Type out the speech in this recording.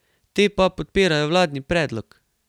Te pa podpirajo vladni predlog.